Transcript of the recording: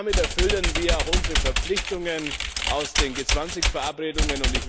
Damit erfüllen wir auch unsere Verpflichtungen aus den G 20 Verabredungen.